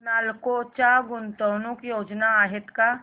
नालको च्या गुंतवणूक योजना आहेत का